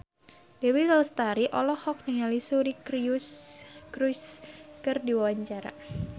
Dewi Lestari olohok ningali Suri Cruise keur diwawancara